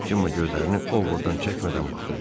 Cemma gözlərini Ovoddan çəkmədən baxırdı.